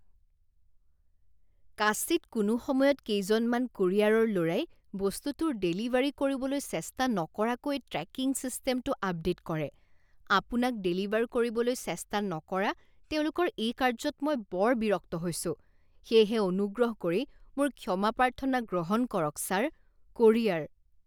কাচিৎ কোনো সময়ত কেইজনমান কোৰিয়াৰৰ ল'ৰাই বস্তুটোৰ ডেলিভাৰী কৰিবলৈ চেষ্টা নকৰাকৈ ট্ৰেকিং ছিষ্টেমটো আপডে'ট কৰে। আপোনাক ডেলিভাৰ কৰিবলৈ চেষ্টা নকৰা তেওঁলোকৰ এই কাৰ্য্যত মই বৰ বিৰক্ত হৈছো সেয়েহে অনুগ্ৰহ কৰি মোৰ ক্ষমা প্ৰাৰ্থনা গ্ৰহণ কৰক ছাৰ। কোৰিয়াৰ